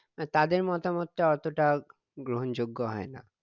না তাদের মতামত টা অতটা গ্রহন যোগ্য হয়না